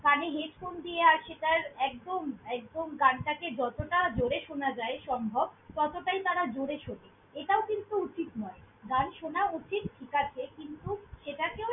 কানে headphone দিয়ে আসে, তার একদম একদম গানটাকে যতটা জোরে শোনা যায় সম্ভব, ততটাই তারা জোরে শোনে। এটাও কিন্তু উচিত নয়। গান শোনা উচিত ঠিক আছে কিন্তু, সেটকেও।